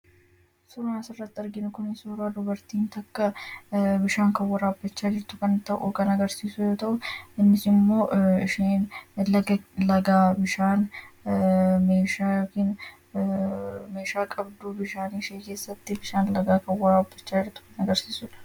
suuraa as irratti arginu kun suuraa dubartiin takka bishaan kan waraabbachaa jirtu kan ta'u kan agarsiisu yoo ta'u innis immoo ishiin laga lagaa bishaan meeshaa qabdu bishaanii kessatti bishaan lagaa kan waraabbachaa jirtu kan agarsiisudha.